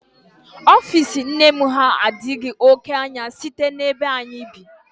Ofiisi nne m ha adịghị oké anya site n'ebe anyị bi